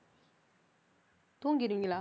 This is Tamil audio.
தூங்கிடுவீங்களா